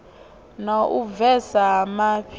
na u bvesa ha mafhi